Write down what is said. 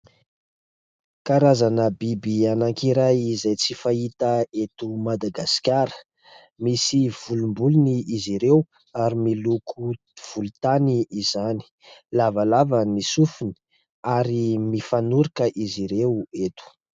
Karazana biby anankiray izay tsy fahita eto Madagasikara. Misy volombolony izy ireo ary miloko volontany izany. Lavalava ny sofiny ary mifanoroka izy ireo eto.